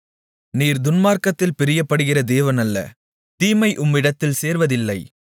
நீர் துன்மார்க்கத்தில் பிரியப்படுகிற தேவன் அல்ல தீமை உம்மிடத்தில் சேர்வதில்லை